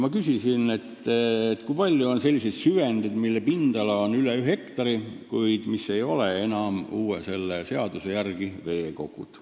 Ma küsisin, kui palju on selliseid süvendeid, mille pindala on üle ühe hektari, kuid mis ei ole tulevase seaduse järgi veekogud.